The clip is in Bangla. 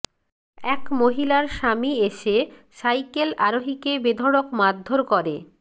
এক মহিলার স্বামী এসে সাইকেল আরোহীকে বেঢড়ক মারধর করে